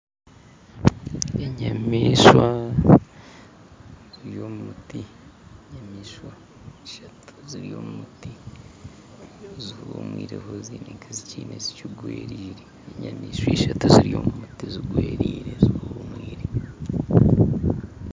Enyamaishwa ziri omu muti enyamaishwa ishatu ziri omu muti zihumwireho haine eki zigwereire enyamaishwa ishatu ziri omu muti zigwereire